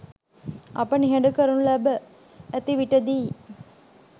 අප නිහඬ කරනු ලැබ ඇති විටදීයි.